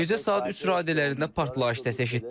Gecə saat 3 radələrində partlayış səsi eşitdik.